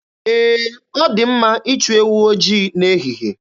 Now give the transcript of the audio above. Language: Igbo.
Ee, ọ dị mma ịchụ ewu ojii n'ehihe.